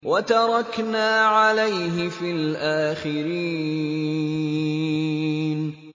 وَتَرَكْنَا عَلَيْهِ فِي الْآخِرِينَ